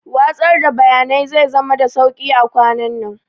Watsar da bayanai zai zama da sauƙi a kwanannan